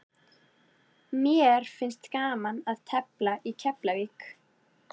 Mér finnst gaman að tefla í Keflavík.